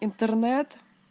интернет